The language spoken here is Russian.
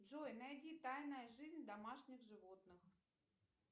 джой найди тайная жизнь домашних животных